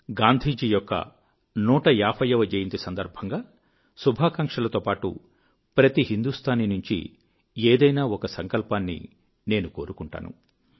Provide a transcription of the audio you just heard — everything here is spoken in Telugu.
గాంధీ జీ యొక్క 150 జన్మ జయంతి సందర్భంగా శుభాకాంక్షలతో పాటు ప్రతీ హిందుస్తానీ నుంచి ఏదైనా ఒక సంకల్పాన్ని నేను కోరుకుంటాను